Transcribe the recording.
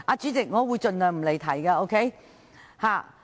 主席，我會盡量不離題。